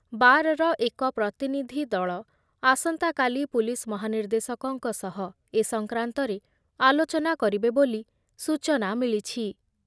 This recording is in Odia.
ବାରର ଏକ ପ୍ରତିନିଧି ଦଳ ଆସନ୍ତାକାଲି ପୁଲିସ ମହାନିର୍ଦ୍ଦେଶକଙ୍କ ସହ ଏ ସଂକ୍ରାନ୍ତରେ ଆଲୋଚନା କରିବେ ବୋଲି ସୂଚନା ମିଳିଛି ।